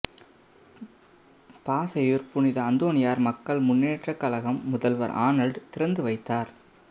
பாசையூர் புனித அந்தோனியார் மக்கள் முன்னேற்ற கழகம் முதல்வர் ஆனல்ட் திறந்துவைத்தார்